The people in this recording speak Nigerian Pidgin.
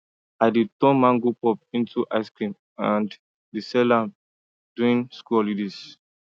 i dey turn mango pulp into ice cream and dey sell am during school holidays